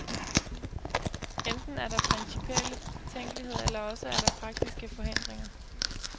Enten er der principielle betænkeligheder eller også er der praktiske forhindringer.